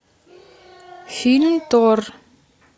фильм тор